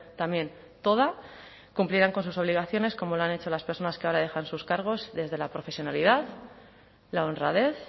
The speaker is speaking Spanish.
también toda cumplirán con sus obligaciones como lo han hecho las personas que ahora dejan sus cargos desde la profesionalidad la honradez